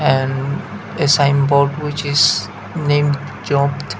and a signboard which is named job.